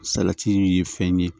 Salati ye fɛn ye